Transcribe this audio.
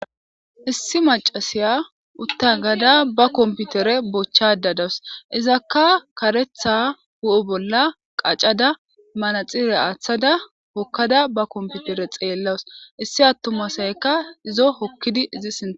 Issi macasiya uta agada ba computer bochada dawusu izakka karetha hu'e bolla qacada manaxire athada hokada ba computer xelawus issi atuma asayikka izo hokidi sinthan